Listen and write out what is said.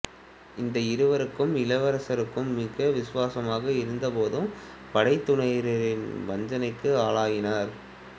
இந்த இருவரும் இளவரசருக்கு மிக்க விசுவாசமாக இருந்தபோதும் படைத்துறையினரின் வஞ்சனைக்கு ஆளாயினர்